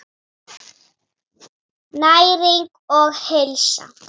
Næring og heilsa.